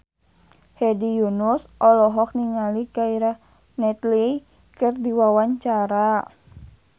Hedi Yunus olohok ningali Keira Knightley keur diwawancara